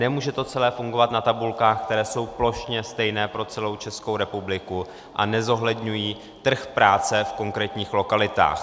Nemůže to celé fungovat na tabulkách, které jsou plošně stejné pro celou Českou republiku a nezohledňují trh práce v konkrétních lokalitách.